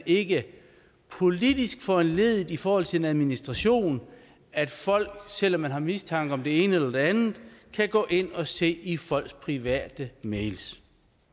ikke politisk kan foranledige i forhold til en administration at folk selv om man har mistanke om det ene og det andet kan gå ind og se i andre folks private mails